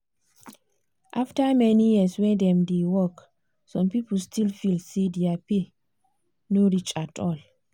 after many years wey dem dey work some people still dey feel say their pay no reach at all.